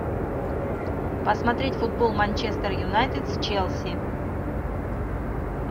посмотреть футбол манчестер юнайтед с челси